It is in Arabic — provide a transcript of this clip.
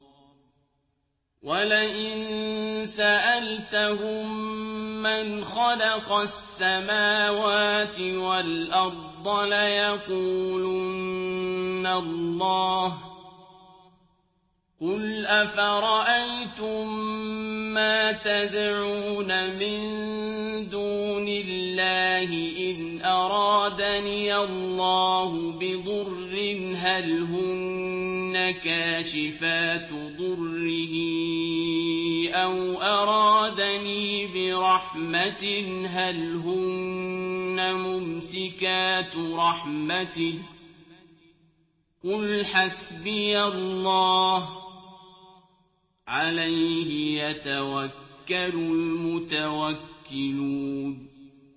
وَلَئِن سَأَلْتَهُم مَّنْ خَلَقَ السَّمَاوَاتِ وَالْأَرْضَ لَيَقُولُنَّ اللَّهُ ۚ قُلْ أَفَرَأَيْتُم مَّا تَدْعُونَ مِن دُونِ اللَّهِ إِنْ أَرَادَنِيَ اللَّهُ بِضُرٍّ هَلْ هُنَّ كَاشِفَاتُ ضُرِّهِ أَوْ أَرَادَنِي بِرَحْمَةٍ هَلْ هُنَّ مُمْسِكَاتُ رَحْمَتِهِ ۚ قُلْ حَسْبِيَ اللَّهُ ۖ عَلَيْهِ يَتَوَكَّلُ الْمُتَوَكِّلُونَ